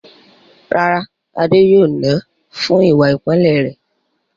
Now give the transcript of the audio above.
Rárá, Adé yóò nà án fún ìwà ìpáǹle rẹ̀.